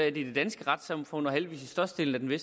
i det danske retssamfund og heldigvis i størstedelen af